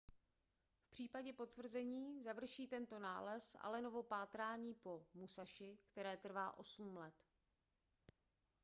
v případě potvrzení završí tento nález allenovo pátrání po musashi které trvá osm let